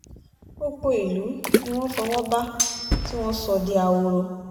gbogbo ìlú ni wọ́n fọwọ́ bá tí wọ́n sọ di ahoro